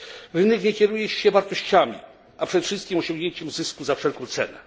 Rynek nie kieruje się wartościami, ale przede wszystkim osiągnięciem zysku za wszelką cenę.